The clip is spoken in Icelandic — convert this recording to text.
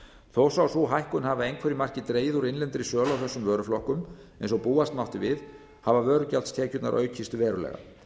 þó svo að sú hækkun hafi að einhverju marki dregið úr innlendri sölu á þessum vöruflokkum eins og búast mátti við hafa vörugjaldstekjurnar aukist verulega